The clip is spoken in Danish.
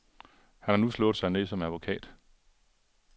Han har nu slået sig ned som advokat.